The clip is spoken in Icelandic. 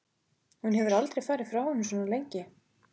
Hún hefur aldrei áður farið frá honum svona lengi.